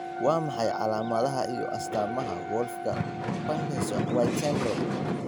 Waa maxay calaamadaha iyo astaamaha Wolffka Parkinson White syndrome?